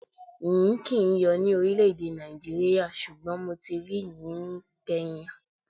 Yìnyín kì ń yóò ní orílẹ̀ Nàìjíríà, ṣùgbọ́n mo ti rí yìnyín ni Kenya.